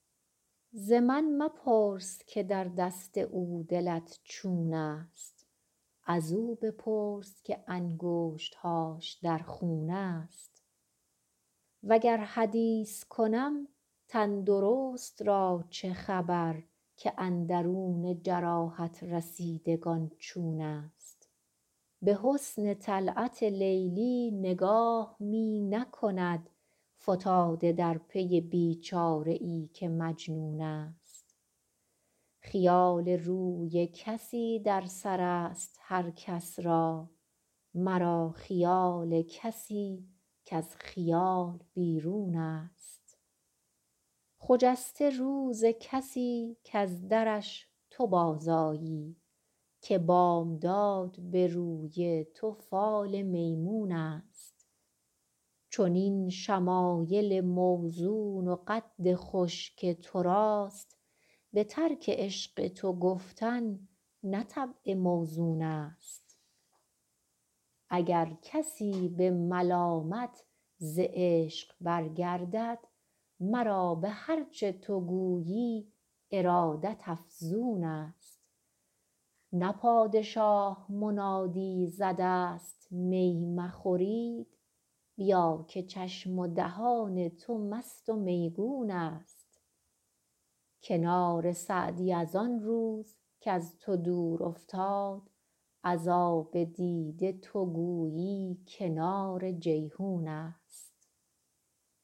ز من مپرس که در دست او دلت چون است ازو بپرس که انگشت هاش در خون است وگر حدیث کنم تن درست را چه خبر که اندرون جراحت رسیدگان چون است به حسن طلعت لیلی نگاه می نکند فتاده در پی بی چاره ای که مجنون است خیال روی کسی در سر است هر کس را مرا خیال کسی کز خیال بیرون است خجسته روز کسی کز درش تو بازآیی که بامداد به روی تو فال میمون است چنین شمایل موزون و قد خوش که تو راست به ترک عشق تو گفتن نه طبع موزون است اگر کسی به ملامت ز عشق برگردد مرا به هر چه تو گویی ارادت افزون است نه پادشاه منادی زده است می مخورید بیا که چشم و دهان تو مست و میگون است کنار سعدی از آن روز کز تو دور افتاد از آب دیده تو گویی کنار جیحون است